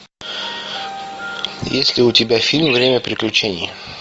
есть ли у тебя фильм время приключений